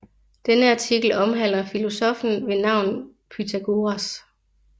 Denne artikel omhandler filosoffen ved navn Pythagoras